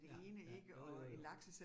Ja ja, jo jo